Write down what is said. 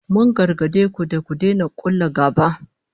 Mun gargade ku da ku daina kulla gaba